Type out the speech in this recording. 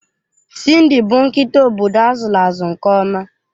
Cindy bụ nkịta obodo azụlụ azụ nke ọma.